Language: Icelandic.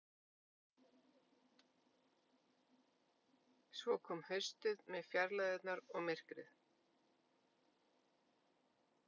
Svo kom haustið með fjarlægðirnar og myrkrið.